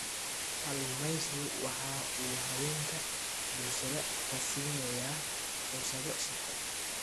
Kalluumaysigu waxa uu haweenka bulshada ka siinayaa fursado shaqo.